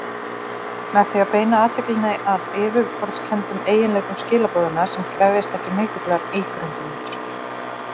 Með því að beina athyglinni að yfirborðskenndum eiginleikum skilaboðanna sem krefjast ekki mikillar ígrundunar.